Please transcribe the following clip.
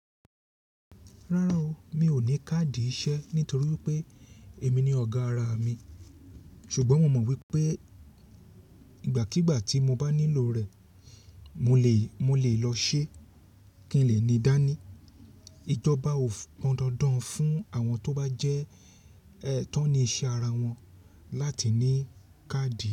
Rárá o, mi ò ní káàdì iṣẹ́ nítorí pé èmi ni ọ̀gá ara mi ṣùgbọ́n mo mọ̀ wípé ìgbàkígbà tí mo bá nílò rẹ̀, mo lè, mo lè lọ ṣe kí n lè ní dání. Ijọba ò pọndandan fún àwọn tó bá jẹ́ ẹ tánní iṣẹ́ ara wọn láti ní káàdì.